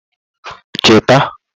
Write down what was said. chita